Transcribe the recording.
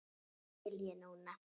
Það skil ég núna.